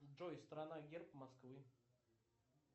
джой страна герб москвы